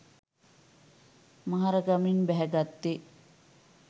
මහරගමින් බැහැ ගත්තේ